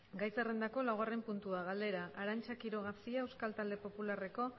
gai zerrendako laugarren puntua galdera arantza quiroga cia euskal talde popularreko